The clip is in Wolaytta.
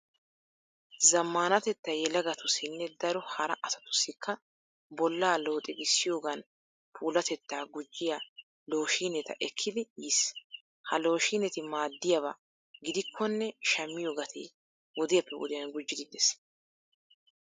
Zammaanatettay yelagatussinne daro hara asatussikka bollaa looxigissiyogan puulatettaa gujjiya looshiineta ekkidi yiis. Ha looshiineti maaddiyaba gidikkonne shammiyo Gates wodiyappe wodiyan gujjiiddi de'ees.